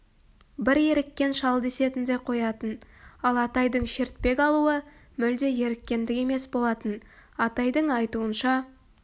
бір еріккен шал десетін де қоятын ал атайдың шертпек алуы мүлде еріккендік емес болатын атайдың айтуынша